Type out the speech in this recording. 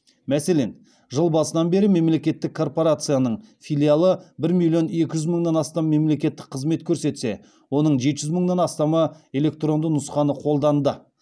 мәселен жыл басынан бері мемлекеттік корпорацияның филиалы бір миллион екі жүз мыңнан астам мемлекеттік қызмет көрсетсе оның жеті жүз мыңнан астамы электронды нұсқаны қолданды